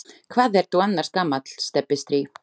Hvað ertu annars gamall, Stebbi strý?